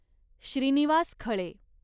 Shrinivas Khale